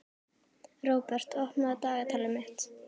Róbert, opnaðu dagatalið mitt.